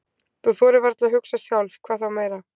Þú þorir varla að hugsa sjálf, hvað þá meira.